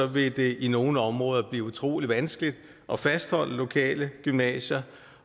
vil det i nogle områder blive utrolig vanskeligt at fastholde lokale gymnasier